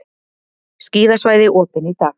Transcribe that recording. Skíðasvæði opin í dag